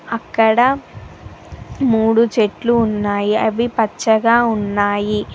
అక్కడ మూడు చెట్లు ఉన్నాయి అవి పచ్చగా ఉన్నాయి.